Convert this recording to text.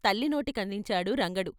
తల్లి. నోటికందించాడు రంగడు.